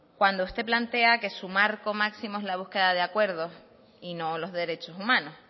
cuando usted plantea que su marco máximo es la búsqueda de acuerdos y no los derechos humanos